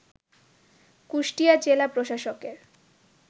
কুষ্টিয়া জেলা প্রশাসকের